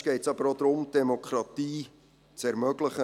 Manchmal geht es aber auch darum, die Demokratie zu ermöglichen.